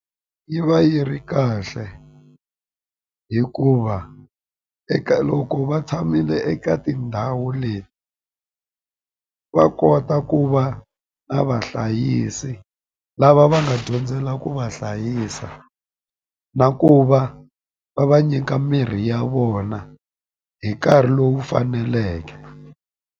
Yi va yi ri kahle hikuva eka loko va tshamile eka tindhawu leti va kota ku va na va hlayisi lava va nga dyondzela ku va hlayisa na ku va va va nyika mirhi ya vona hi nkarhi lowu faneleke.